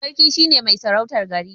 Sarki shine mai sarautar gari.